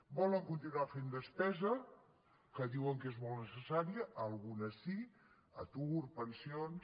volen continuar fent despesa que diuen que és molt necessària alguna sí atur pensions